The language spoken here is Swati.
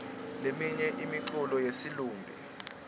leminye imiculo yesilumbi